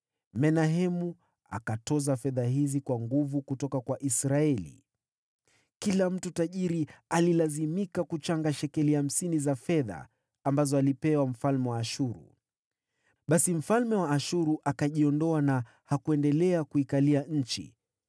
Menahemu akatoza fedha hizi kwa nguvu kutoka kwa Israeli. Kila mtu tajiri alilazimika kuchanga shekeli hamsini za fedha ambazo alipewa mfalme wa Ashuru. Basi mfalme wa Ashuru akajiondoa na hakuendelea kuikalia nchi.